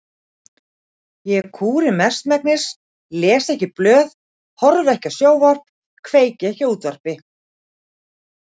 Ég kúri mestmegnis, les ekki blöð, horfi ekki á sjónvarp, kveiki ekki á útvarpi.